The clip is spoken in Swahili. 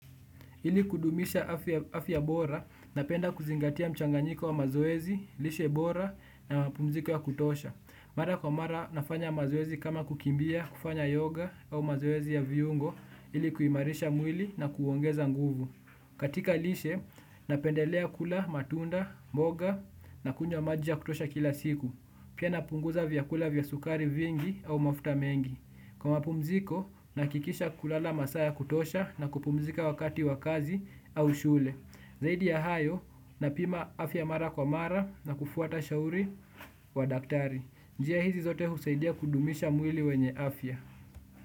Ili kudumisha afya bora, napenda kuzingatia mchanganyiko wa mazoezi, lishe bora na mpumziko ya kutosha. Mara kwa mara nafanya mazoezi kama kukimbia, kufanya yoga au mazoezi ya viungo, hili kuimarisha mwili na kuongeza nguvu. Katika lishe, napendelea kula, matunda, mboga na kunywa maji ya kutosha kila siku. Pia napunguza vyakula vya sukari vingi au mafuta mengi. Kwa mapumziko, nahakikisha kulala masaa ya kutosha na kupumzika wakati wa kazi au shule. Zaidi ya hayo, napima afya mara kwa mara na kufuata shauri wa daktari. Njia hizi zote husaidia kudumisha mwili wenye afya.